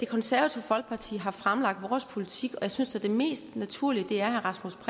det konservative folkeparti har vi fremlagt vores politik og jeg synes da det mest naturlige er at herre rasmus